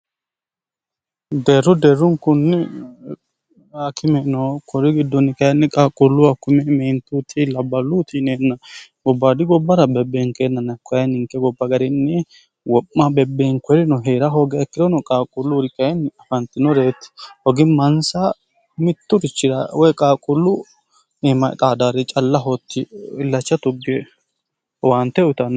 deerru deerrunkunni rakimeno kuri gidduunni kayinni qaaqquulluwa kume meentuti labballu utiineenna gobbaadi gobbara bebbeenkeenna nakkoyi ninke gobba garinni wo'ma bebbeenkorino hie'ra hooga akkirono qaaquulluuri qayinni afantinoreeti hogi mansa mitturichirawoy qaaquullu iimxaadaarri calla hootti ilacha tugge waante uyianno